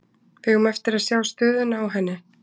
Við eigum eftir að sjá stöðuna á henni.